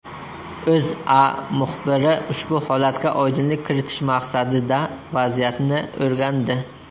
O‘zA muxbiri ushbu holatga oydinlik kiritish maqsadida vaziyatni o‘rgandi .